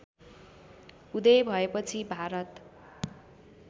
उदय भएपछि भारत